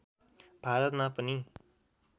भारतमा पनि